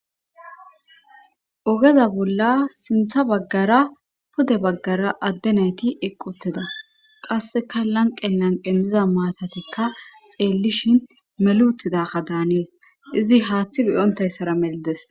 ogeza bolla sintha baggara pude baggara adde nayti ieqqi utida qasseka lanqe lanqen diza maatatikka xeellishin melutidaka daanees izi haaththi beyontayssara meldes